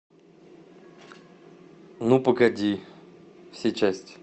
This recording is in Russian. ну погоди все части